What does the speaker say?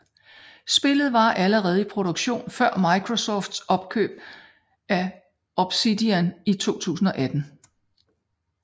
Spillet var allerede i produktion før Microsofts opkøb af Obsidian i 2018